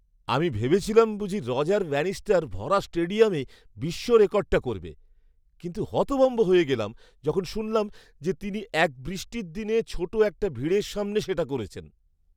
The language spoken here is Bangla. আমি ভেবেছিলাম বুঝি রজার ব্যানিস্টার ভরা স্টেডিয়ামে বিশ্ব রেকর্ডটা করবে, কিন্তু হতভম্ব হয়ে গেলাম যখন শুনলাম যে তিনি এক বৃষ্টির দিনে ছোট একটা ভিড়ের সামনে সেটা করেছেন!